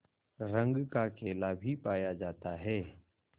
रंग का केला भी पाया जाता है